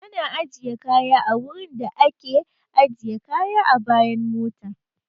Ana ajiye kaya a wurin da a ke ajiye kaya a bayan mota